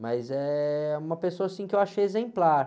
Mas é uma pessoa, assim, que eu acho exemplar.